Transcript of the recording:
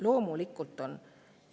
Loomulikult on!